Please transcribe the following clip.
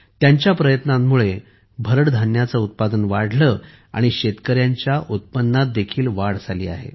त्यांच्या प्रयत्नांमुळे भरड धान्यांचे उत्पादन वाढले आणि शेतकऱ्यांच्या उत्पन्नातही वाढ झाली आहे